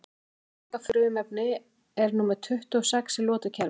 Hvaða þunga frumefni er númer tuttugu og sex í lotukerfinu?